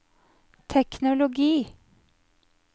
teknologi